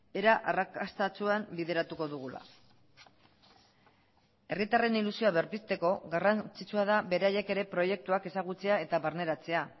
era arrakastatsuan bideratuko dugula herritarren ilusioa berpizteko garrantzitsua da beraiek ere proiektuak ezagutzea eta barneratzea